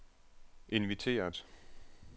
inviteret